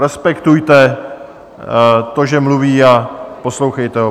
Respektujte to, že mluví, a poslouchejte ho.